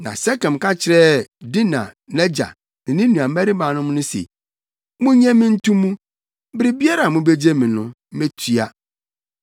Na Sekem ka kyerɛɛ Dina nʼagya ne ne nuabarimanom no se “Munnye me nto mu. Biribiara a mubegye me no, metua.